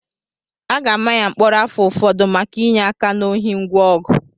A ga-ama ya mkpọrọ afọ ụfọdụ maka inye aka na ohi ngwa ọgụ